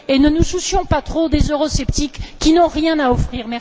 ne nous soucions pas trop des eurosceptiques, qui n'ont rien à offrir!